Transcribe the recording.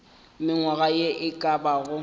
mengwaga ye e ka bago